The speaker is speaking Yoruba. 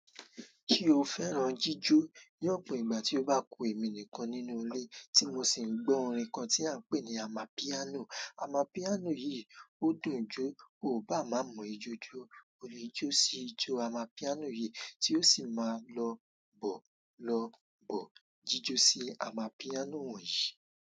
Kí o fẹ́ràn jíjó ní ọ̀pọ̀ ìgbà tí ó bá kun èmi nìkan nínú ilé tí mo sì ń gbọ́ orin kan tí à ń pè ní amapiano. Amapiano yìí ó dùn jó, o ò bá má mọ ijó jó. O ní jó sí ijó amapiano yìí tí ó sì máa lọ bò lọ bò jíjó sí amapiano wọ̀nyí.